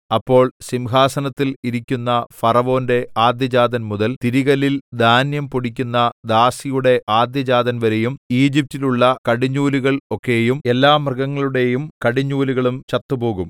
അപ്പോൾ സിംഹാസനത്തിൽ ഇരിക്കുന്ന ഫറവോന്റെ ആദ്യജാതൻ മുതൽ തിരികല്ലിൽ ധാന്യം പൊടിക്കുന്ന ദാസിയുടെ ആദ്യജാതൻ വരെയും ഈജിപ്റ്റിലുള്ള കടിഞ്ഞൂലുകൾ ഒക്കെയും എല്ലാ മൃഗങ്ങളുടെയും കടിഞ്ഞൂലുകളും ചത്തുപോകും